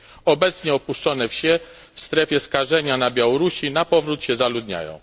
Obecnie opuszczone wsie w strefie skażenia na Białorusi na powrót się zaludniają.